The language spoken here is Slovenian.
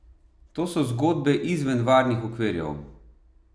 To so zgodbe izven varnih okvirjev.